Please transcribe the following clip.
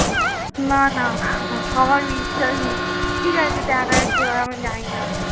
না না আমার বিশ্বাস নেই ঠিক আছে দেখা যাক কি হয় আমি জানিনা।